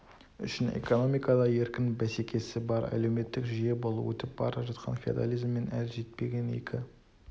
үшін экономикада еркін бәсекесі бар әлеуметтік жүйе бұл өтіп бара жатқан феодализмен әлі жетпеген екі